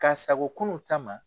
Ka sago kunun ta ma.